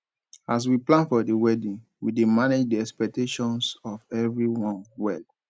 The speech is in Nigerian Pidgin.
as we plan for the wedding we dey manage di expectations of everyone well